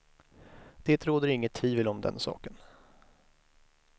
Det råder inget tvivel om den saken.